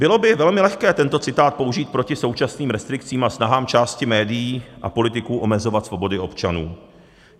Bylo by velmi lehké tento citát použít proti současným restrikcím a snahám části médií a politiků omezovat svobody občanů.